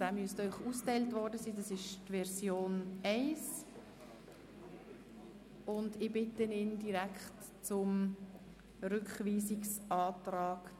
Dabei ist die Erfahrung der seit 8 Jahren bestens etablierten, akzeptierten und funktionierenden Zürcher ZAB einzubeziehen.